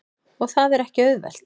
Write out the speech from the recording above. Og það er ekki auðvelt.